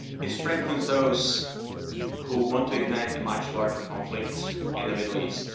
It strengthens those who want to ignite a much larger conflict in the Middle East.